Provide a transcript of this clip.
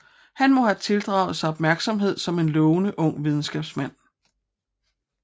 Han må have tildraget sig opmærksomhed som en lovende ung videnskabsmand